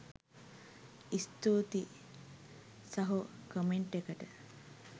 ස්තූතියි සහෝ කමෙන්ට් එකට